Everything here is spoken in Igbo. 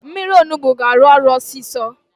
Mmiri Onugbu ga-arụ ọrụ ọsịsọ